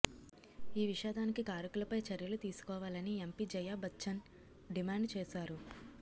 ఈ విషాదానికి కారకులపై చర్యలు తీసుకోవాలని ఎంపీ జయాబచ్చన్ డిమాండు చేశారు